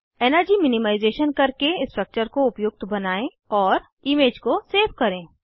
energy minimisation करके structure को उपयुक्त बनायें और इमेज को सेव करें